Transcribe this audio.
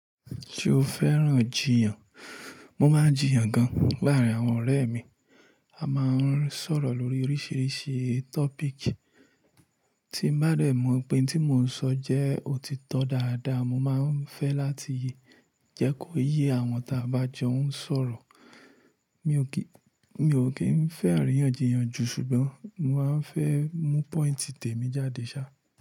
Ṣo fẹ́ràn jiyàn? Mo máa ń jiyàn gan. Láàárín àwọn ọ̀rẹ́ mi, a máa ń sọ̀rọ̀ lórí oríṣiríṣi topic. Tí n bá dẹ̀ mọ̀ pé ohun tí mò ń sọ jẹ́ òtítọ́ dáadáa, mo máa ń fẹ́ láti jẹ́ kó yé àwọn tí a bá jọ ń sọ̀rọ̀. Mi ò kí, mi ò kí ń fẹ́ àríyànjiyàn jù ṣùgbọ́n mo máa ń fẹ́ mú point tèmi jáde ṣá.